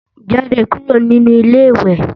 Jáde kúrò nínu Ilé-ìwẹ̀!